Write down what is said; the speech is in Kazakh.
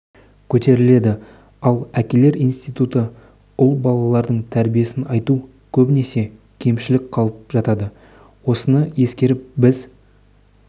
көтеріледі ал әкелер институты ұл балалардың тәрбиесін айту көбінесе кемшін қалып жатады осыны ескеріп біз